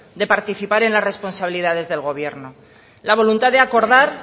de participar en la responsabilidades del gobierno la voluntad de acordar